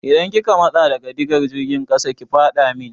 Idan kika matsa daga digar jirgin ƙasa ki faɗa min!